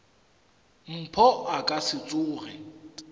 mpho a ka se tsoge